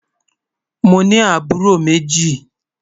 Mọ ní àbúró mẹ́jì.